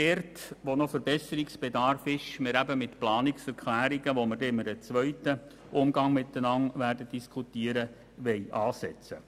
Wo noch Verbesserungsbedarf besteht, werden wir Planungserklärungen vorschlagen, über die wir in einem zweiten Teil diskutieren werden.